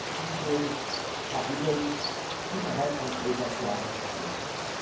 und zwischen den Kapiteln innerhalb eines Haushaltsjahres selbst.